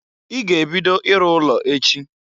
I ga-ebido iru ụlọ echi!